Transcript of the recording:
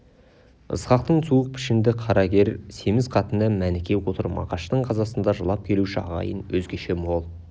ысқақтың суық пішінді қара кер семіз қатыны мәніке отыр мағаштың қазасында жылап келуші ағайын өзгеше мол